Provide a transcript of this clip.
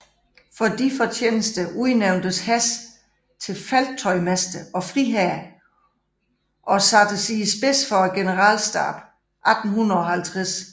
For disse fortjenester udnævntes Hess til felttøjmester og friherre og sattes i spidsen for generalstaben 1850